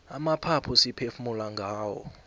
amaphaphu siphefumula ngawo